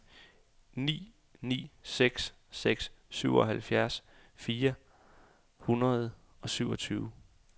ni ni seks seks syvoghalvtreds fire hundrede og syvogtyve